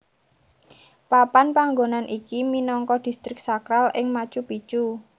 Papan panggonan iki minangka Distrik Sakral ing Machu Picchu